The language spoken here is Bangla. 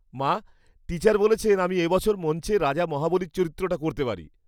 মা, টিচার বলেছেন আমি এ বছর মঞ্চে রাজা মহাবলীর চরিত্রটা করতে পারি।